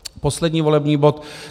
Poslední volební bod